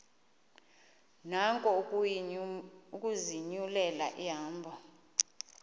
nako ukuzinyulela ihambo